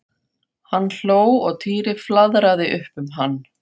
Hann hló og Týri flaðraði upp um hann.